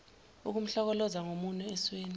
ukumhlokoloza ngomunwe esweni